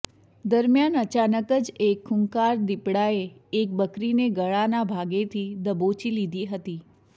દરમ્યાન અચાનક જ એક ખુંખાર દિપડાએ એક બકરીને ગળાના ભાગેથી દબોચી લીધી હતી